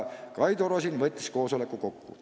Kaido Rosin võttis koosoleku kokku.